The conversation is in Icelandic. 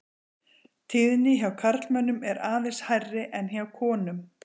Tíðni hjá karlmönnum er aðeins hærri en hjá konum.